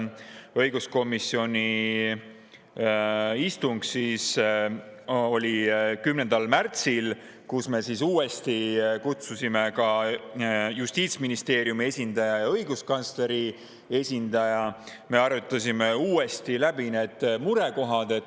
Õiguskomisjoni istung oli 10. märtsil, kuhu me kutsusime uuesti ka Justiitsministeeriumi esindaja ja õiguskantsleri esindaja ning kus me arutasime uuesti läbi murekohad.